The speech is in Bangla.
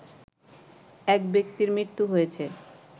এক ব্যক্তির মৃত্যু হয়েছে